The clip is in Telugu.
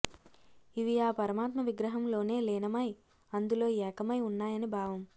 ఇవి ఆ పరమాత్మ విగ్రహంలోనే లీనమై అందులో ఏకమై ఉన్నాయని భావం